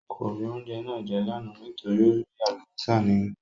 Kò rí oúnjẹ náà jẹ́ lánàá nítorí ó rí Àlùbọ́sà nínú ẹ̀